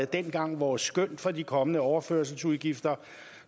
dengang vores skøn for de kommende overførselsudgifter